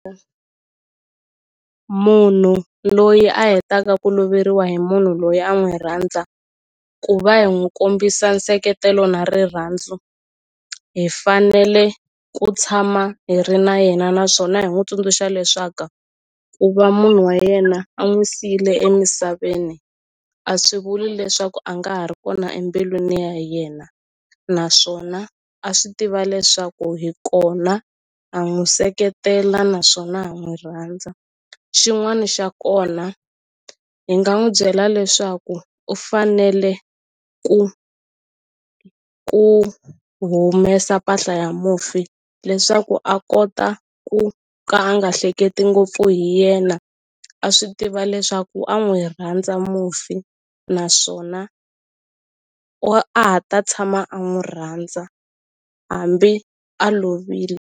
Munhu loyi a hetaka ku loveriwa hi munhu loyi a n'wi rhandza ku va hi n'wu kombisa nseketelo na rirhandzu hi fanele ku tshama hi ri na yena naswona hi n'wu tsundzuxa leswaku ku va munhu wa yena a n'wi siyile emisaveni a swi vuli leswaku a nga ha ri kona embilwini ya yena naswona a swi tiva leswaku hi kona ha n'wu seketela naswona ha n'wu rhandza xin'wani xa kona hi nga n'wu byela leswaku u fanele ku ku humesa mpahla ya mufi leswaku a kota ku ka a nga hleketi ngopfu hi yena a swi tiva leswaku a n'wi rhandza mufi naswona a ha ta tshama a n'wu rhandza hambi a lovile.